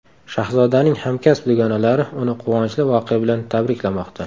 Shahzodaning hamkasb dugonalari uni quvonchli voqea bilan tabriklamoqda.